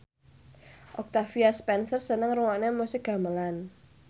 Octavia Spencer seneng ngrungokne musik gamelan